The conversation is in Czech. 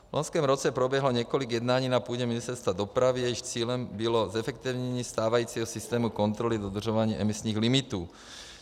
V loňském roce proběhlo několik jednání na půdě Ministerstva dopravy, jejichž cílem bylo zefektivnění stávajícího systému kontroly dodržování emisních limitů.